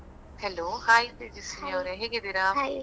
Hello hai Tejaswini ಅವ್ರೆ ಹೇಗಿದ್ದೀರಾ?